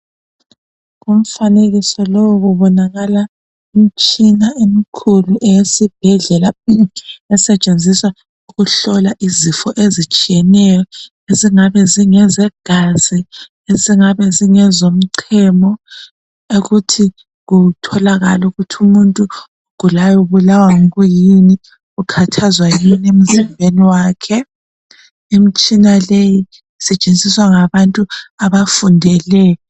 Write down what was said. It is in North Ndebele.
Umfanekiso lowu kubonaka imitshina emkhulu eyesibhedlela esetshenziswa ukuhlola izifo ezitshiyeneyo ezingabe zingezegazi ezingabe zingezomchemo ukuthi kutholakale ukuthi umuntu ogulayo ubulawa kuyini ukhathazwa yini emzimbeni wakhe imitshina leyi isetshenziswa ngabantu abafundeleyo.